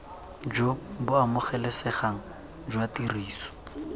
jo bo amogelesegang jwa tiriso